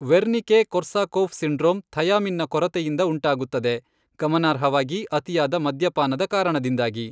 Wernicke Korsakoff syndrome ಥಯಾಮಿನ್ನ ಕೊರತೆಯಿಂದ ಉಂಟಾಗುತ್ತದೆ, ಗಮನಾರ್ಹವಾಗಿ ಅತಿಯಾದ ಮದ್ಯಪಾನದ ಕಾರಣದಿಂದಾಗಿ.